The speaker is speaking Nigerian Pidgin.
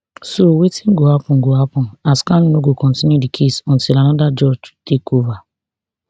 so wetin go happun go happun as kanu no go continue di case until anoda judge takeova